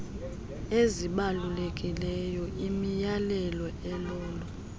ezibalulekileyo imiyalelo elolo